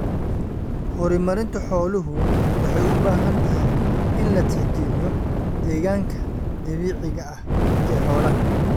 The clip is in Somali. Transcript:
Horumarinta xooluhu waxay u baahan tahay in la tixgeliyo deegaanka dabiiciga ah ee xoolaha.